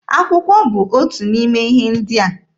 Akwụkwọ bụ otu n'ime ihe ndị a.